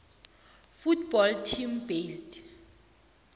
football team based